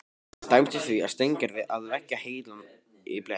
Það dæmdist því á Steingerði að leggja heilann í bleyti.